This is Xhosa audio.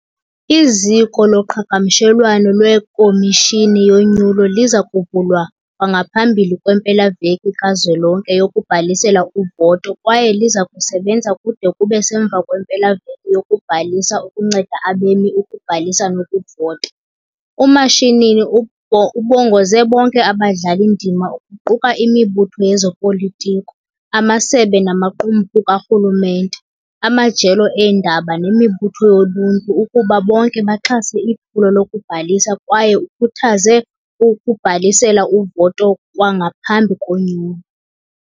Iziko loqhagamshelwano lweKhomishini yoNyulo liza kuvulwa kwangaphambili kwempela-veki kazwelonke yokubhalisela uvoto kwaye liza kusebenza kude kube semva kwempela-veki yokubhalisa ukunceda abemi ukubhalisa nokuvota. UMashinini ubongoze bonke abadlali-ndima kuquka imibutho yezopolitiko, amasebe namaqumrhu karhulumente, amajelo eendaba nemibutho yoluntu ukuba bonke baxhase iphulo lokubhalisa kwaye ukhuthaze ukubhalisela uvoto kwangaphambi konyulo.